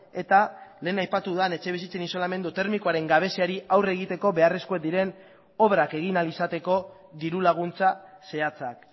eta lehen aipatu dudan etxebizitzen isolamendu termikoaren gabeziari aurre egiteko beharrezkoak diren obrak egin ahal izateko dirulaguntza zehatzak